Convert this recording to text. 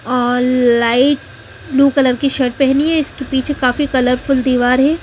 और light blue colour की shirt पहनी है इसके पीछे काफी कलर फूल दिवार है।